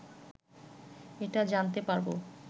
এটা জানতে পারব